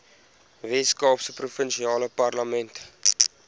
weskaapse provinsiale parlement